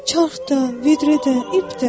Çarx da, vedrə də, ip də.